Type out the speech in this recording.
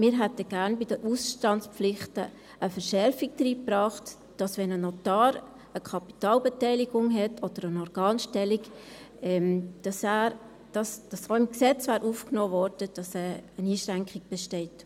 Wir hätten gerne bei den Ausstandspflichten eine Verschärfung hineingebracht, sodass auch im Gesetz aufgenommen worden wäre, dass eine Einschränkung besteht, wenn ein Notar eine Kapitalbeteiligung oder eine Organstellung hat.